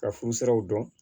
Ka furu siraw dɔn